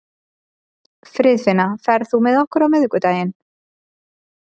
Friðfinna, ferð þú með okkur á miðvikudaginn?